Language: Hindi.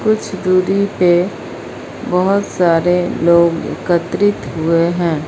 कुछ दूरी पे बहुत सारे लोग एकत्रित हुए हैं।